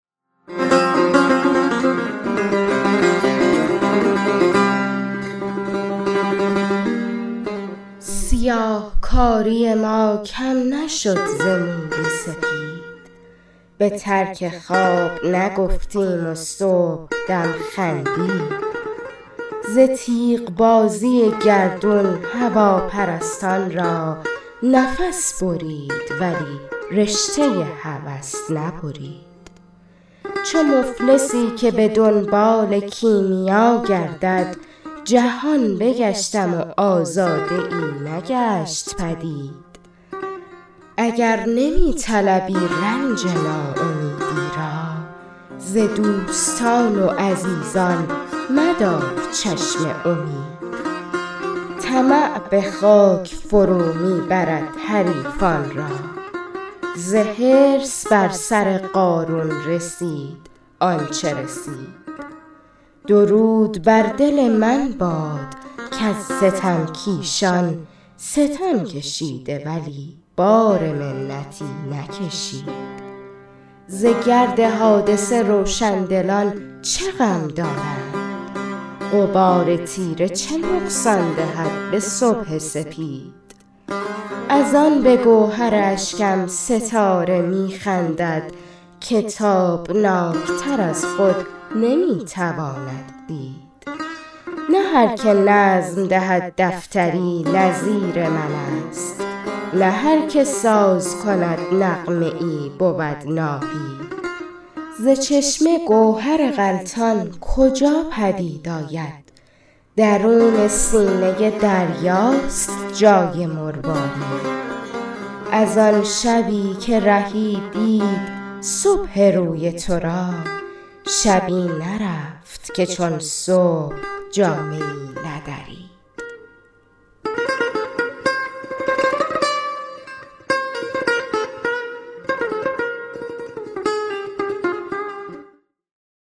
سیاهکاری ما کم نشد ز موی سپید به ترک خواب نگفتیم و صبحدم خندید ز تیغ بازی گردون هواپرستان را نفس برید ولی رشته هوس نبرید چو مفلسی که به دنبال کیمیا گردد جهان بگشتم و آزاده ای نگشت پدید اگر نمی طلبی رنج ناامیدی را ز دوستان و عزیزان مدار چشم امید طمع به خاک فرو می برد حریصان را ز حرص بر سر قارون رسید آنچه رسید درود بر دل من باد کز ستم کیشان ستم کشید ولی بار منتی نکشید ز گرد حادثه روشندلان چه غم دارند غبار تیره چه نقصان دهد به صبح سپید نه هرکه نظم دهد دفتری نظیر من است که تابناک تر از خود نمی تواند دید ز چشمه گوهر غلتان کجا پدید آید نه هرکه ساز کند نغمه ای بود ناهید از آن شبی که رهی دید صبح روی تو را شبی نرفت که چون صبح جامه ای ندرید